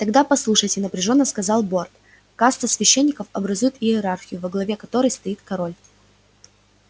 тогда послушайте напряжённо сказал борт каста священников образует иерархию во главе которой стоит король